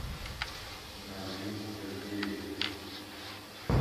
назим сергеевич